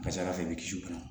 Kasara fɛnɛ bɛ kisi u kan